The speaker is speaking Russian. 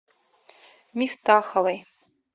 мифтаховой